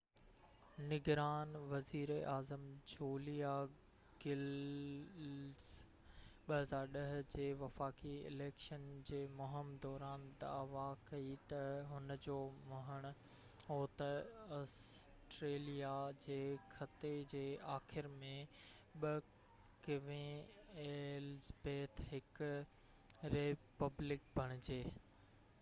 نگران وزيراعظم Julia Gillard 2010 جي وفاقي اليڪشن جي مهم دوران دعويٰ ڪئي ته هُن جو مڃڻ هو ته آسٽريليا ڪوين ايلزبيٿ ii جي خطي جي آخر ۾ هڪ ريپبلڪ بڻجي